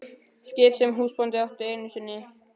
Skip sem húsbóndinn átti einu sinni.